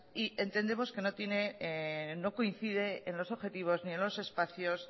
y entendemos que no coincide en los objetivos ni en los espacios